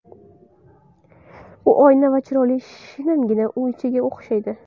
U oyna va chiroqli shinamgina uychaga o‘xshaydi.